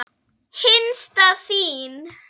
Hinsta þín.